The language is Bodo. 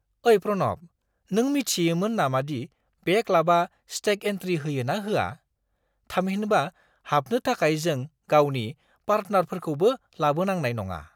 ओइ प्रनब, नों मिथियोमोन नामादि बे क्लाबआ स्टेग इन्ट्रि होयो ना होआ? थामहिनबा हाबनो थाखाय जों गावनि पार्टनारफोरखौबो लाबोनांनाय नङा।